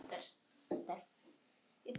Þinn sonur, Anton.